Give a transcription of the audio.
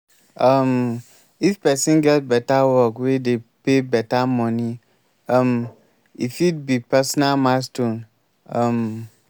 um if person get better work wey dey pay better money um e fit be personal milestone um